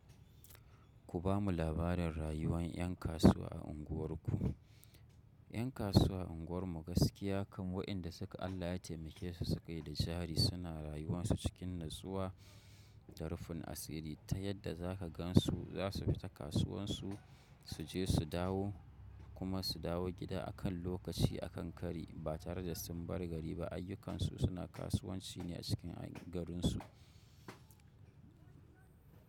Ku bamu labarin rayuwan ƴan kasuwa a unguwarku. Ƴan kasuwa a unguwar mu gaskiya kam waƴanda suka, Allah ya taimakesu suke da jari suna rayuwan su cikin nutsuwa da rufin asiri, ta yanda za ka gansu za su fita kasuwansu su je su dawo. Kuma su dawo gida a kan lokaci a kan kari ba tare da sun barbgari ba. Ayyukansu suna kasuwanci ne a cikin garinsu.